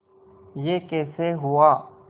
यह कैसे हुआ